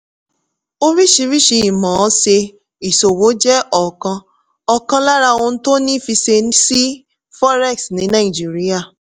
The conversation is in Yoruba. oríṣiríṣi ìmọ̀-ọ́n-ṣe ìṣowò jẹ́ ọ̀kan ọ̀kan lára ohun tó ní fiṣe sí forex ní nàìjíríà.